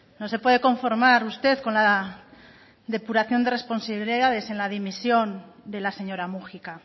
no se puede conformar usted con la depuración de responsabilidades en la dimisión de la señora múgica